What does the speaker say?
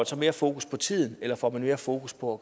så mere fokus på tiden eller får man mere fokus på